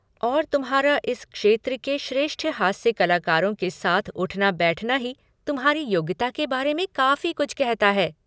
और तुम्हारा इस क्षेत्र के श्रेष्ठ हास्य कलाकारों के साथ उठना बैठना ही तुम्हारी योग्यता के बारे में काफ़ी कुछ कहता है।